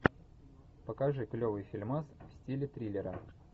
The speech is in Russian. покажи клевый фильмас в стиле триллера